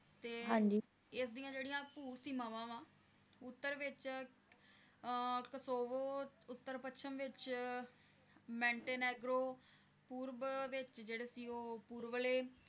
ਤੇ, ਹਾਂਜੀ, ਇਸ ਦੀਆਂ ਜਿਹੜੀਆਂ ਭੂ ਸੀਮਾਵਾਂ ਵ ਉੱਤਰ ਵਿਚ Scovo ਅਹ ਉੱਤਰ ਪੱਛਮ ਵਿਚ Mantenegro ਪੂਰਬ ਵਿਚ ਜਿਹੜੇ ਸੀ ਉਹ ਪੂਰਬਲੇ